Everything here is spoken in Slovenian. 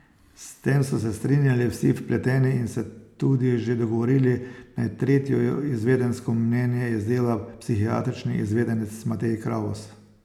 S tem so se strinjali vsi vpleteni in se tudi že dogovorili, naj tretje izvedensko mnenje izdela psihiatrični izvedenec Matej Kravos.